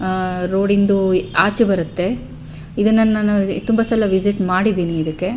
ಆಹ್ಹ್ road ಇಂದು ಆಚೆ ಬರುತ್ತೆ ಇದನ್ನ ತುಂಬ ಸಲ ವಿಸಿಟ್ ಮಾಡಿದೀನಿ ಇದಕ್ಕೆ.